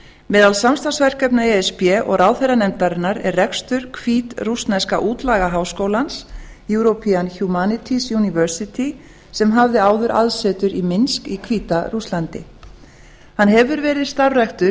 meðal samstarfsverkefna e s b og ráðherranefndarinnar er rekstur hvítrússneska útlagaháskólans european humanity university sem hafði áður aðsetur í minsk í hvíta rússlandi hann hefur verið starfræktur